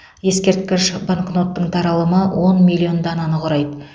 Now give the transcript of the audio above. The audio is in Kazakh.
ескерткіш банкноттың таралымы он миллион дананы құрайды